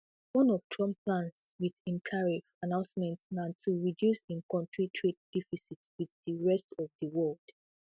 one of trump plans wit im tariff announcement na to reduce im kontri trade deficit wit di rest of di world